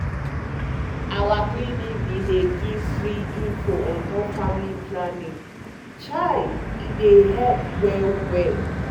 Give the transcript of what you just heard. our clinic bin dey give free informate on top family planning chai e dey help well well.